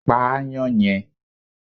Pa aáyán yẹn